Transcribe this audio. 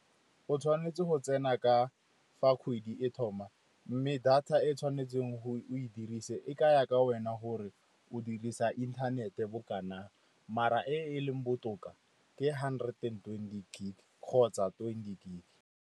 O tshwanetse go tsena ka fa kgwedi e thoma, mme data e tshwanetseng o e dirise e ka ya ka wena gore o dirisa inthanete bo kanang maar-a e e leng botoka ke hundred and twenty gig kgotsa twenty gig.